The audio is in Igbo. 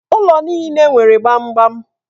Ụlọ niile nwere gbamgbam